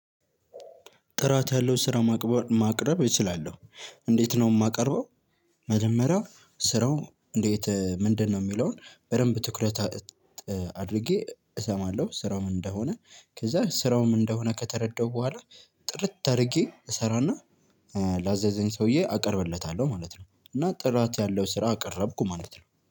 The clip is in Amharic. ጥራት ያለው ስራ ማቅበ ማቅረብ እችላለሁ። እንዴት ነው የማቀርበው? መጀመሪያ ስራው እንዴት ምንድን ነው የሚለውን በደንብ ትኩረት አድርጌ እስማለሁ። ስራው ምን እንደሆነ ከዛ ስራው ምን እንደሆነ ከተረዳሁ ብኋላ። ጥርት አድርጌ እስራና ላዘዘኝ ሰውየ አቅርብለታለሁ ማለት ነው። እና ጥራት ያለው ስራ አቀረብኩ ማለት ነው